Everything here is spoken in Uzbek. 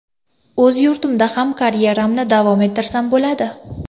O‘z yurtimda ham karyeramni davom ettirsam bo‘ladi.